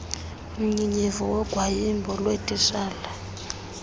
mnyinyiva wogwayimbo lweetitshala